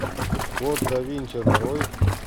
код да винчи нарой